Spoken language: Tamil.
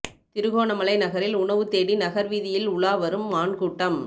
திருகோணமலை நகரில் உணவு தேடி நகர் வீதியில் உலாவரும் மான் கூட்டம்